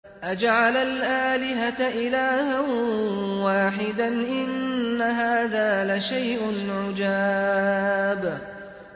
أَجَعَلَ الْآلِهَةَ إِلَٰهًا وَاحِدًا ۖ إِنَّ هَٰذَا لَشَيْءٌ عُجَابٌ